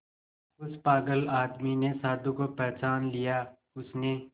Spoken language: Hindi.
उस पागल आदमी ने साधु को पहचान लिया उसने